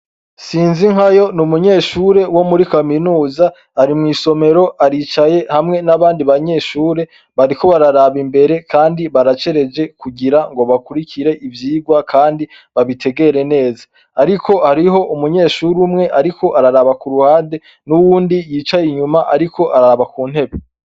SINZINKAYO ni umunyeshure wo muri kaminuza ari mwisomero aricaye hamwe n' abandi banyeshure bariko bararaba imbere kandi baracereje kugira ngo bakurikire ivyigwa kandi babitegere neza ariko hariyo umunyeshure umwe ariko araraba kuruhande n' uwundi yicaye inyuma ariko araba kuntebe.